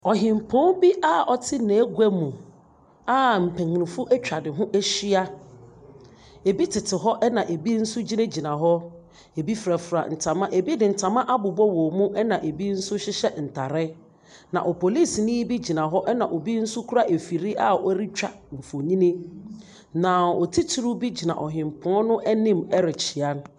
Ɔhenpɔn bi a ɔte negua mu a mpanyinfo ɛtwa ne ho ɛhyia. Ebi tete hɔ ɛna ebi nso gyinagyina hɔ. Ebi firafira ntama, ebi de ntama abobɔ wɔn mu ɛna ebi nso hyehyɛ ntaare. Na opolisinii bi gyina hɔ ɛna obi nso kura ɛfiri a ɔretwa nfonni na ɔtitiriw gyina ɔhenpɔn no anim ɛrekyea no.